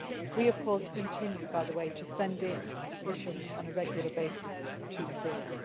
We of course continue, by the way, to send in missions on a regular basis to Syria.